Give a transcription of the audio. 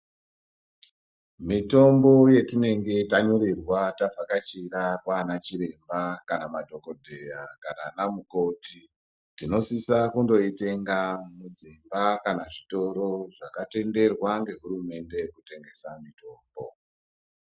Mitombo yetinenge tanyorerwa tavhakachira kwaana chiremba kana madhokodheya kana ana mukoti tinosisa kundoitenga mudzimba kana zvitoro zvakatenderwa ngehurumende kutengesa.